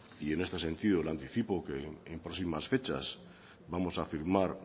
y en este sentido le anticipo que en próximas fechas vamos a firmar